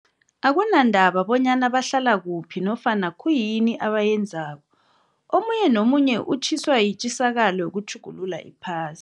Akunandaba bonyana bahlala kuphi nofana khuyini abayenzako, omunye nomunye utjhiswa yitjisakalo yokutjhugulula iphas